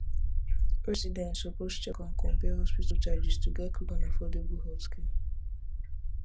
residents suppose check and compare hospital charges to get quick and affordable healthcare